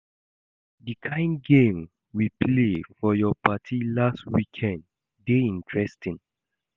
The kin game we play for your party last weekend dey interesting